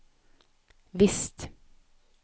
visst